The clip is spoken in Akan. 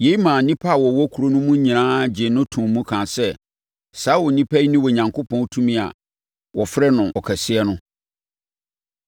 Yei maa nnipa a wɔwɔ kuro no mu no nyinaa gyee no too mu kaa sɛ, “Saa onipa yi ne Onyankopɔn tumi a wɔfrɛ no Ɔkɛseɛ no.”